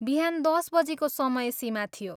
बिहान दस बजीको समय सीमा थियो।